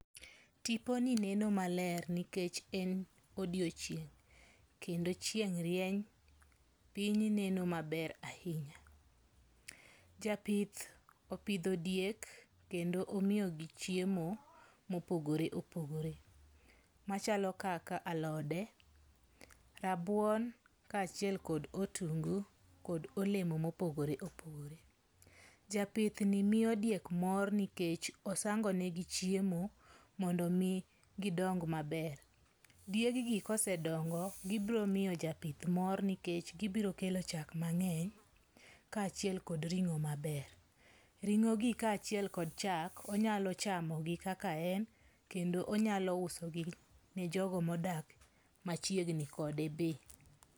Tiponi neno maler nikch en odiochieng' kendo chieng' rieny. Piny neno maber ahinya. Japith opidho diek kendo omiyogi chiemo mopogore opogore machalo kaka alode, rabuon kaachiel kod otungu kod olemo mopogore opogore. Japithni miyo diek mor nikech osangonegi chiemo mondo omi gidong maber. Dieggi kosedongo, gibiro miyo japith mor nikech gibiro kelo chak mang'eny kaachiel kod ring'o maber. Ring'o gi kaachil kod chak, onyalo chamogi kaka en kendo onyalo uso gi ne jogo modak machiegni kode be.